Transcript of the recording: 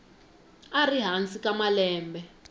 a ri hansi ka malembe